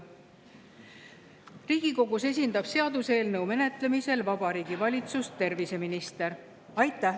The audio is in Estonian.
Riigikogus esindab seaduseelnõu menetlemisel Vabariigi Valitsust terviseminister.